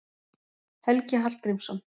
Helgi Hallgrímsson.